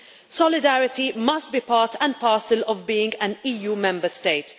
Solidarity must be part and parcel of being an EU Member State.